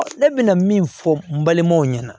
Ne bɛ na min fɔ n balimaw ɲɛna